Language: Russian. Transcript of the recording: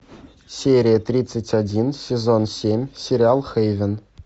серия тридцать один сезон семь сериал хейвен